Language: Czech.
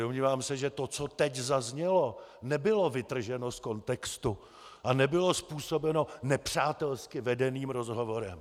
Domnívám se, že to, co teď zaznělo, nebylo vytrženo z kontextu a nebylo způsobeno nepřátelsky vedeným rozhovorem.